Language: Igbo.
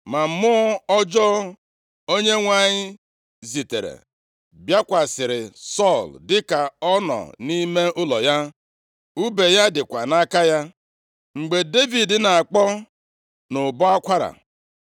Ma mmụọ ọjọọ Onyenwe anyị zitere bịakwasịrị Sọl dịka ọ nọ nʼime ụlọ ya, ùbe ya dịkwa ya nʼaka. Mgbe Devid na-akpọ nʼụbọ akwara,